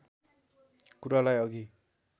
कुरालाई अघि